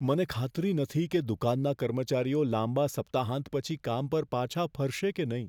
મને ખાતરી નથી કે દુકાનના કર્મચારીઓ લાંબા સપ્તાહાંત પછી કામ પર પાછા ફરશે કે નહીં.